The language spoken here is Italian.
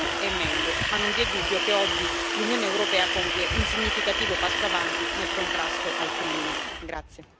In conclusione, si poteva fare di più e meglio ma non vi è dubbio che oggi l'Unione europea compie un significativo passo avanti nel contrasto al crimine.